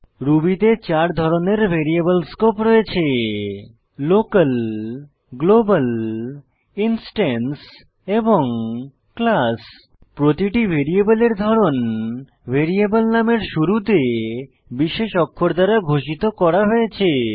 Ruby তে চার ধরনের ভ্যারিয়েবল স্কোপ রয়েছে লোকাল গ্লোবাল ইনস্ট্যান্স এবং ক্লাস প্রতিটি ভ্যারিয়েবলের ধরন ভ্যারিয়েবল নামের শুরুতে বিশেষ অক্ষর দ্বারা ঘোষিত করা হয়েছে